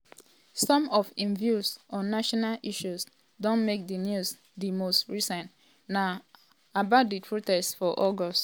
some of im views on national issues don make di news di most recent na about di protest for august.